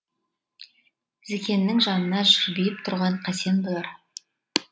зікеннің жанында жарбиып тұрған қасен болар